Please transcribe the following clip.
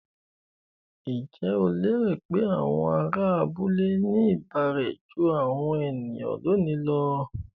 Ǹjẹ́ o lérò pé àwọn ará abúlé ní ìbárẹ́ jú àwọn ènìyàn lónìí lọ?